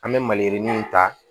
An bɛ maliyirinin ta